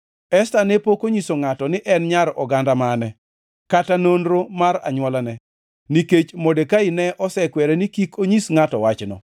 Esta ne pok onyiso ngʼato ni en nyar oganda mane, kata nonro mar anywolane, nikech Modekai ne osekwere ni kik onyis ngʼato wachno.